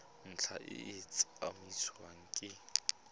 ntlha e tla tsamaisiwa ke